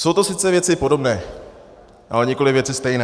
Jsou to sice věci podobné, ale nikoli věci stejné.